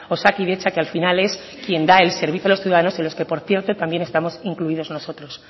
osakidetza que al final es el quien da el servicio a los ciudadanos y en los que por cierto también estamos incluidos nosotros